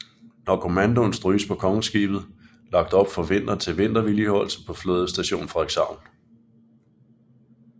Når kommandoen stryges bliver Kongeskibet lagt op for vinteren til vintervedligeholdelse på Flådestation Frederikshavn